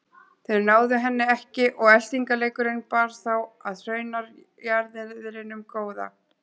Þeir náðu henni ekki og eltingaleikurinn bar þá að hraunjaðrinum góða.